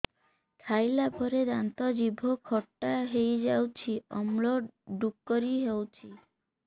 ଖାଇଲା ପରେ ଦାନ୍ତ ଜିଭ ଖଟା ହେଇଯାଉଛି ଅମ୍ଳ ଡ଼ୁକରି ହଉଛି